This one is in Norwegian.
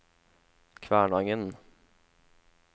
Kvænangen